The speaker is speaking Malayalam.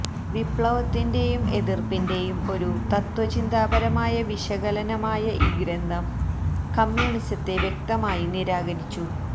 വിപ്ലവത്തിന്റെയും എതിർപ്പിന്റെയും ഒരു തത്ത്വചിന്താപരമായ വിശകലനമായ ഈ ഗ്രന്ഥം കമ്യൂണിസത്തെ വ്യക്തമായി നിരാകരിച്ചു